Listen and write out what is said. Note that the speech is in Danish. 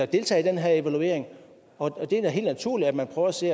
deltage i den her evaluering og det er da helt naturligt at man prøver at se